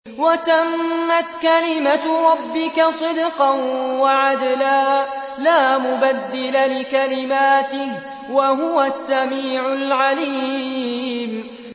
وَتَمَّتْ كَلِمَتُ رَبِّكَ صِدْقًا وَعَدْلًا ۚ لَّا مُبَدِّلَ لِكَلِمَاتِهِ ۚ وَهُوَ السَّمِيعُ الْعَلِيمُ